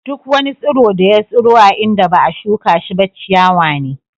Duk wani tsiro da ya tsiro a inda ba'a shuka shi ba ciyawa ne.